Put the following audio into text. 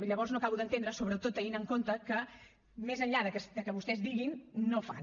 llavors no ho acabo d’entendre sobretot tenint en compte que més enllà que vostès diguin no fan